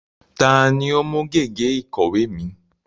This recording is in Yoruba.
Ta ni ó mú gègé ìkọ̀wé mi?